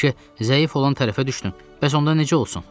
Bəlkə zəif olan tərəfə düşdüm, bəs onda necə olsun?